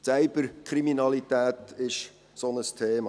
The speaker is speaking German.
Die Cyberkriminalität ist so ein Thema.